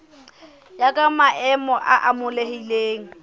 ya ka maemo a amohelehileng